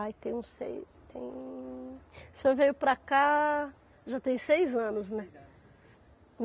Ai, tem uns seis, tem... O senhor veio para cá, já tem seis anos, né? Seis anos.